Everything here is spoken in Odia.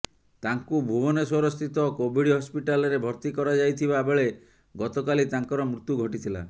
ତାଙ୍କୁ ଭୁବନେଶ୍ୱରସ୍ଥିତ କୋଭିଡ ହସପିଟାଲରେ ଭର୍ତ୍ତି କରାଯାଇଥିବା ବେଳେ ଗତକାଲି ତାଙ୍କର ମୃତ୍ୟୁ ଘଟିଥିଲା